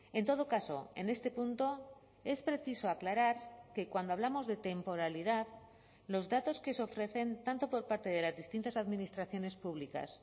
en todo caso en este punto es preciso aclarar que cuando hablamos de temporalidad los datos que se ofrecen tanto por parte de las distintas administraciones públicas